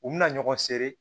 U bɛna ɲɔgɔn sere